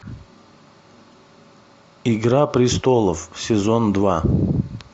игра престолов сезон два